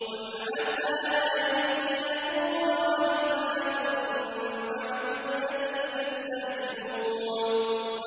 قُلْ عَسَىٰ أَن يَكُونَ رَدِفَ لَكُم بَعْضُ الَّذِي تَسْتَعْجِلُونَ